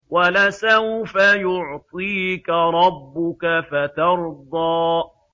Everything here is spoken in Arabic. وَلَسَوْفَ يُعْطِيكَ رَبُّكَ فَتَرْضَىٰ